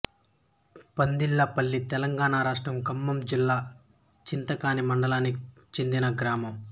పందిళ్ళపల్లితెలంగాణ రాష్ట్రం ఖమ్మం జిల్లా చింతకాని మండలానికి చెందిన గ్రామం